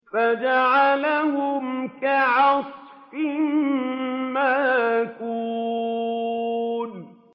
فَجَعَلَهُمْ كَعَصْفٍ مَّأْكُولٍ